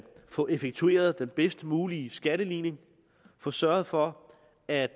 få effektueret den bedst mulige skatteligning få sørget for at